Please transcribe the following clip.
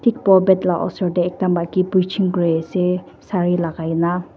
Thik pulpet la osor dae ekta maki preaching kuri ase sari lagaina.